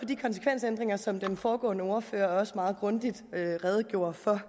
de konsekvensændringer som den foregående ordfører også meget grundigt redegjorde for